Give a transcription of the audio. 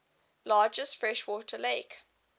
largest freshwater lake